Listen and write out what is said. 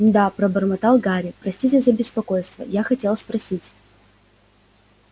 да пробормотал гарри простите за беспокойство я хотел спросить